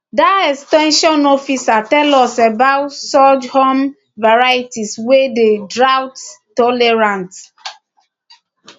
dat ex ten sion officer tell us about sorghum varieties wey dey droughttolerant